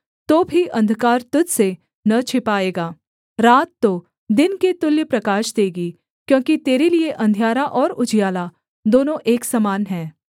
तो भी अंधकार तुझ से न छिपाएगा रात तो दिन के तुल्य प्रकाश देगी क्योंकि तेरे लिये अंधियारा और उजियाला दोनों एक समान हैं